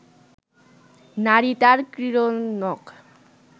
নারী তার ক্রীড়নক